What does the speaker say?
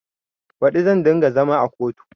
Baɗi zan ɗinga zama a kotu